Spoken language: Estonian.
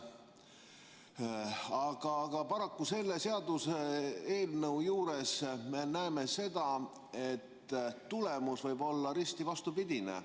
Aga paraku selle seaduseelnõu juures me näeme seda, et tulemus võib olla risti vastupidine.